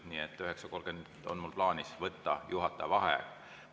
Nii et kell 9.30 on mul plaanis võtta juhataja vaheaeg.